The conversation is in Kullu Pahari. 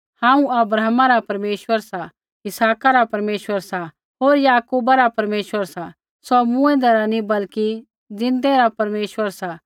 हांऊँ अब्राहमा रा परमेश्वर सा इसहाका रा परमेश्वर सा होर याकूबा रा परमेश्वर सा सौ मूँऐंदै रा नी बल्कि ज़िन्दै रा परमेश्वर सा